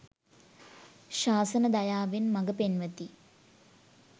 ශාසන දයාවෙන් මග පෙන්වති.